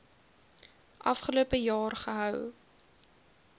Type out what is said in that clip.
afgelope jaar gehou